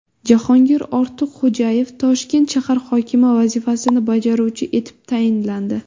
Jahongir Ortiqxo‘jayev Toshkent shahar hokimi vazifasini bajaruvchisi etib tayinlandi.